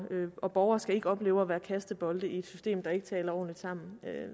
og borgere skal ikke opleve at være kastebold i et system der ikke taler ordentligt sammen